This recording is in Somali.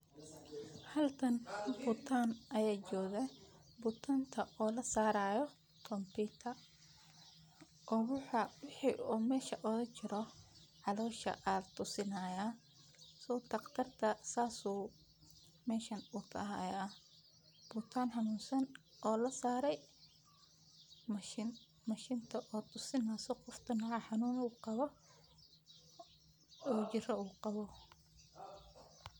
Halkan bukaan ayaa jooga oo lasaarayo kompitar oo waxa caloosha ooga jiro laxusaayo bukaan xanunsan oo lasaare mashin.